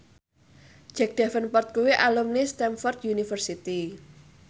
Jack Davenport kuwi alumni Stamford University